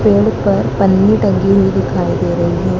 पेड़ पर पन्नी टंगी हुई दिखाई दे रही है।